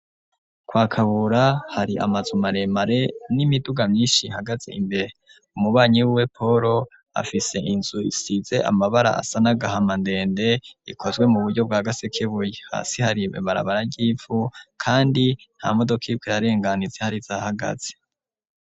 Kwa kabura hari amazu maremare n'imiduga myinshi hagaze imbere umubanyi we polo afise inzu isize amabara asanagahama ndende ikozwe mu buryo bwa gasekebuye hasi hari barabararyipfu kandi nta modoka yibwe rarenganize hari zahagaze.